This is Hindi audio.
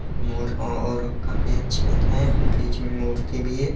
मोर और काफी अच्छे है बीच में मूर्ति भी है।